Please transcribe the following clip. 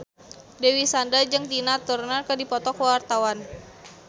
Dewi Sandra jeung Tina Turner keur dipoto ku wartawan